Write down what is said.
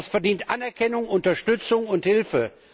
Das verdient Anerkennung, Unterstützung und Hilfe.